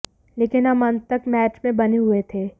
लेकिन हम अंत तक मैच में बने हुए थे